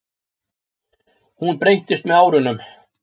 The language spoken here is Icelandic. Hún breyttist með árunum.